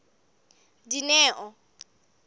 dineo